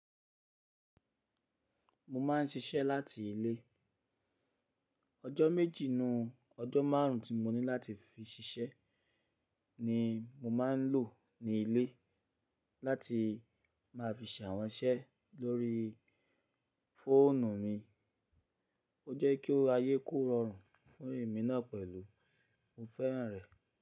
Mo ma ń ṣiṣẹ́ láti ilé. Ọjọ́ méjì nu ọjọ́ márùn tí mo ní láti fi ṣiṣẹ́ ni mo ma ń lò ní ilé láti ma fi ṣe àwọn iṣẹ́ lórí fóònù mi. Ó jẹ́ kí ó ayé kó rọrùn fún èmi náà pẹ̀lú mo fẹ́ràn rẹ̀.